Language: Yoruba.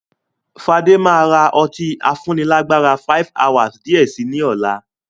Fade maa ra ọtí afúnni lágbára "5hours" di ẹ síí ni ọ̀la.